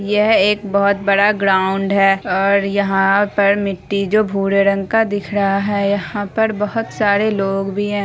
यह एक बहुत बड़ा ग्राउंड है और यहाँ पर मिट्टी जो भूरे रंग का दिख रहा है यहाँ पर बहुत सारे लोग भी है।